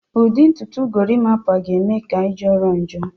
Ụdị ntutu Gorimpa ga-eme ka ị jọrọ njọ